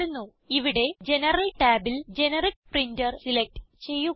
ഇവിടെ ജനറൽ ടാബിൽ generic printer select ചെയ്യുക